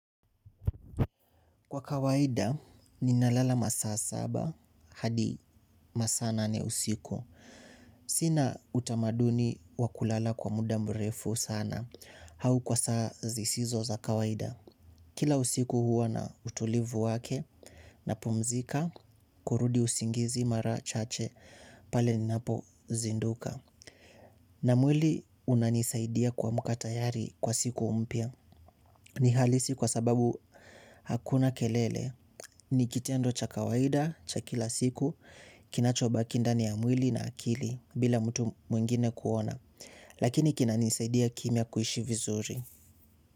Kwa kawaida, ninalala masaa saba, hadi masaa nane usiku. Sina utamaduni wa kulala kwa muda mrefu sana. Au kwa saa zisizo za kawaida. Kila usiku huwa na utulivu wake, napumzika, kurudi usingizi mara chache, pale ninapozinduka. Na mwili unanisaidia kuamka tayari kwa siku mpya. Ni halisi kwa sababu hakuna kelele. Ni kitendo cha kawaida, cha kila siku. Kinachobaki ndani ya mwili na akili. Bila mtu mwingine kuona lakini kinanisaidia kimya kuishi vizuri.